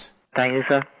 हाँ thank you सिर